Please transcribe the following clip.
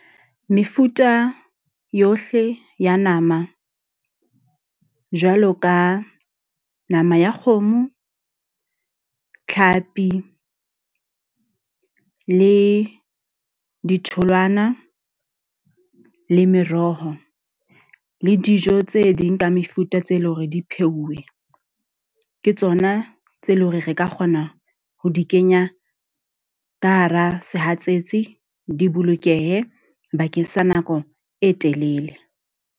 Mefuta yohle ya nama, jwalo ka nama ya kgomo, tlhapi le ditholwana, le meroho, le dijo tse ding ka mefuta tse leng hore di pheuwe. Ke tsona tse leng hore re ka kgona ho di kenya ka hara sehatsetsi di bolokehe bakeng sa nako e telele.